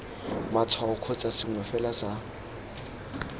matshwao kgotsa sengwe fela sa